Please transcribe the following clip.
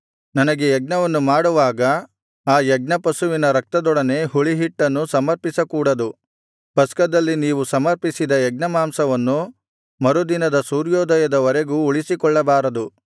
ನನಗೆ ಯಜ್ಞವನ್ನು ಮಾಡುವಾಗ ಆ ಯಜ್ಞಪಶುವಿನ ರಕ್ತದೊಡನೆ ಹುಳಿಹಿಟ್ಟನ್ನು ಸಮರ್ಪಿಸಕೂಡದು ಪಸ್ಕದಲ್ಲಿ ನೀವು ಸಮರ್ಪಿಸಿದ ಯಜ್ಞಮಾಂಸವನ್ನು ಮರುದಿನದ ಸೂರ್ಯೋದಯದವರೆಗೂ ಉಳಿಸಿಕೊಳ್ಳಬಾರದು